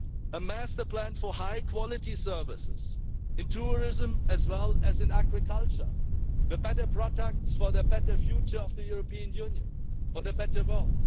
A master plan for high quality services, in tourism as well as in agriculture, for better products for a better future of the European Union, for a better world.